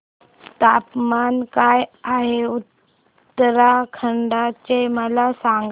तापमान काय आहे उत्तराखंड चे मला सांगा